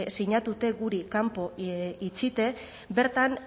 sinatute guri kanpo itxite bertan